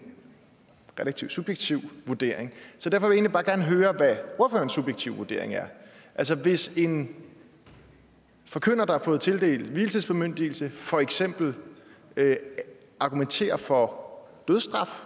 relativt subjektiv vurdering så derfor vil jeg egentlig bare gerne høre hvad ordførerens subjektive vurdering er hvis en forkynder der har fået tildelt vielsesbemyndigelse for eksempel argumenterer for dødsstraf